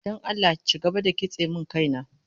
Don Allah ci gaba da kitse min kaina